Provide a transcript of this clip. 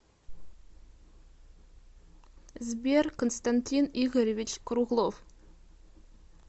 сбер константин игоревич круглов